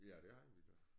Ja det havde vi da